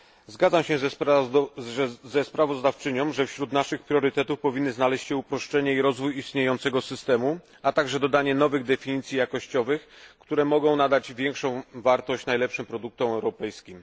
Zgadzam się ze sprawozdawczynią, że wśród naszych priorytetów powinny znaleźć się uproszenie i rozwój istniejącego systemu, a także dodanie nowych definicji jakościowych, które mogą nadać większą wartość najlepszym produktom europejskim.